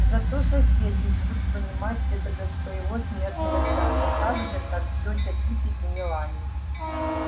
зато соседи будут понимать это до своего смертного часа так же как тётя питтипэт и мелани